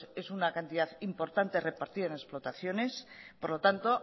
es una cantidad importante repartida en explotaciones por lo tanto